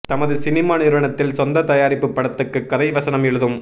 தமது சினிமா நிறுவனத்தின் சொந்த தயாரிப்பு படத்துக்கு கதை வசனம் எழுதும்